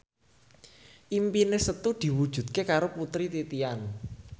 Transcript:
impine Setu diwujudke karo Putri Titian